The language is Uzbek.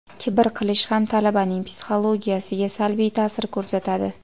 kibr qilish ham talabaning psixologiyasiga salbiy ta’sir ko‘rsatadi.